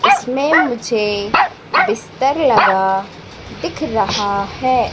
इसमें मुझे बिस्तर लगा दिख रहा है।